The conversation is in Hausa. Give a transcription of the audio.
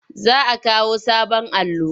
Za a kawo sabon allo.